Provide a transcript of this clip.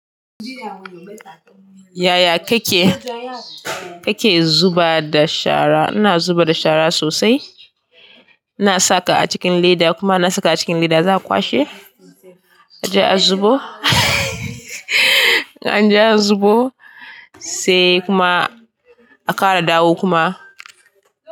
Yaya kake, kake zuba da shara. Ina zuba da shara sosai. In na saka a cikin leda kuma in na saka a cikin leda, za a kwashe, a je a zubo. An je an zubo sai kuma akara dawo kuma.